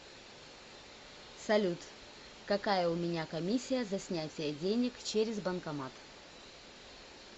салют какая у меня комиссия за снятие денег через банкомат